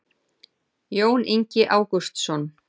jón ingi ágústsson